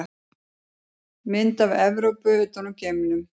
Mynd af Evrópu utan úr geimnum.